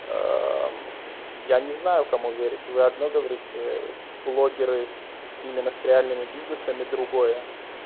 аа я не знаю кому верить вы одно говорите блогеры с именно с реальными бизнесами другое